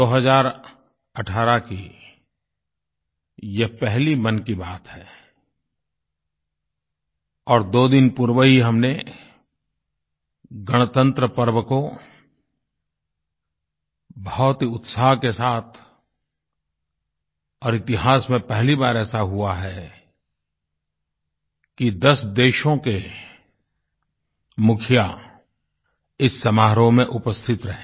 2018 की यह पहली मन की बात है और दो दिन पूर्व ही हमने गणतन्त्र पर्व को बहुत ही उत्साह के साथ और इतिहास में पहली बार ऐसा हुआ कि 10 देशों के मुखिया इस समारोह में उपस्थित रहे